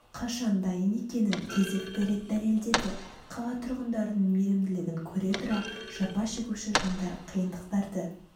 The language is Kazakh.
қашан дайын екенін кезекті рет дәлеледеді қала тұрғындарының мейірімділігін көре тұра жапа шегуші жандар қиындықтарды